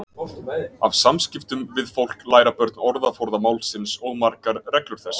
Af samskiptum við fólk læra börn orðaforða málsins og margar reglur þess.